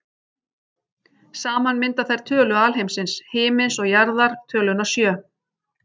Saman mynda þær tölu alheimsins, himins og jarðar, töluna sjö.